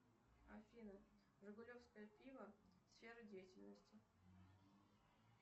афина жигулевское пиво сфера деятельности